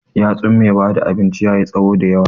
yatsun mai bada abinci yayi tsawo da yawa.